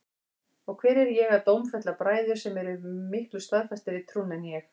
Og hver er ég að dómfella bræður sem eru miklu staðfastari í trúnni en ég?